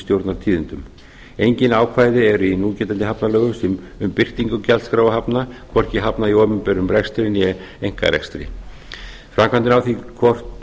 stjórnartíðindum engin ákvæði eru í núgildandi hafnalögum um birtingu gjaldskrár hafna hvorki hafna í opinberum rekstri né einkarekstri framkvæmdin á því hvort